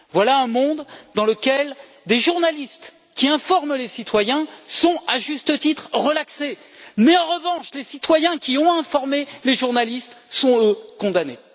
Voilà un monde dans lequel des journalistes qui informent les citoyens sont à juste titre relaxés, mais où, en revanche, les citoyens qui ont informé les journalistes sont, eux, condamnés.